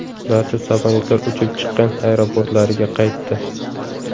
Barcha samolyotlar uchib chiqqan aeroportlariga qaytdi.